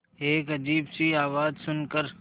एक अजीब सी आवाज़ सुन कर